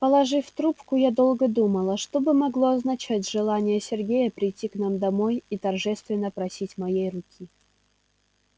положив трубку я долго думала что бы могло означать желание сергея прийти к нам домой и торжественно просить моей руки